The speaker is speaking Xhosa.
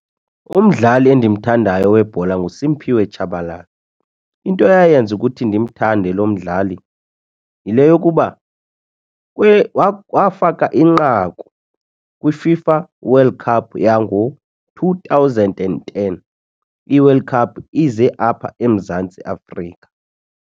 Umdlali endimthandayo webhola nguSimphiwe Tshabalala into eyayenza ukuthi ndimthande lo mdlali yile yokuba wafaka inqaku kwiFIFA World Cup yango-two thousand and ten, iWorld Cup ize apha eMzantsi Afrika.